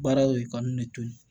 Baaraw ye ka n ne to yen